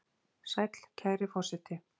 Sæll, kæri forseti!